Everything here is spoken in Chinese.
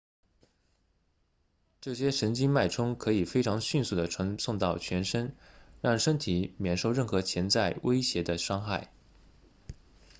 这些神经脉冲可以非常迅速地传送到全身让身体免受任何潜在威胁的伤害